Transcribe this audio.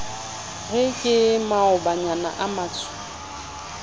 re ke maobanyana a matsho